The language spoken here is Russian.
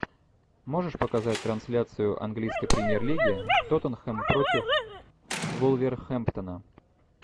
можешь показать трансляцию английской премьер лиги тоттенхэм против вулверхэмптона